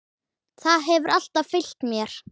Það hefur alltaf fylgt mér.